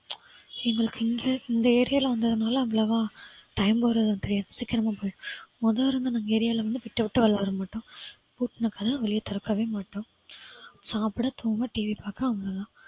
எங்களுக்கு இங்க இந்த area ல வந்ததுனால அவ்வளவா time போறதும் தெரியாது சீக்கிரமா போயிரும் மொதோ இருந்த நம்ம area ல வந்து விட்டு விட்டு விளையாடுவோம் பூட்டுனா கதவை வெளில திறக்கவே மாட்டோம். சாப்பிட தூங்க டிவி பார்க்க அவ்வளவு தான்